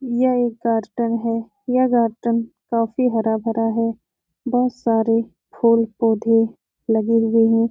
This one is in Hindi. यह एक है। यह गार्डन काफी हरा भरा है। बहोत सारे फूल पौधे लगे हुए हैं।